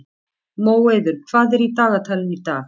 Móeiður, hvað er í dagatalinu í dag?